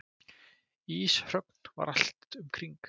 Íshröngl var allt um kring.